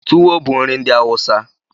Tuwo bụ nri ndị Awụsa.